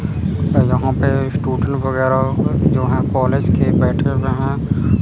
जहां पे स्टूडेंट वगैरह जो हैं कॉलेज के बैठे हुए हैं।